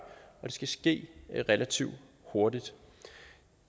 skal ske relativt hurtigt